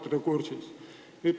Kas olete kursis?